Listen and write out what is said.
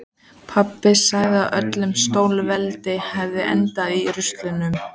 Pabbi segir að öll stórveldi hafi endað í rústum.